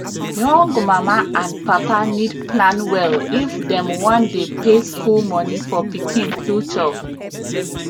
young mama and papa need plan well if dem wan dey pay school money for pikin future